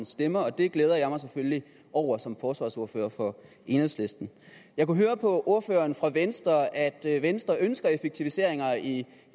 stemmer og det glæder jeg mig selvfølgelig over som forsvarsordfører for enhedslisten jeg kunne høre på ordføreren fra venstre at venstre ønsker effektiviseringer i